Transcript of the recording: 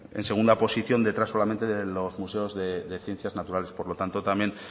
en segunda posición detrás solamente de los museos de ciencias naturales por lo tanto también